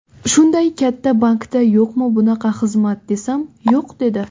Shunday katta bankda yo‘qmi bunaqa xizmat desam, ‘yo‘q’ dedi.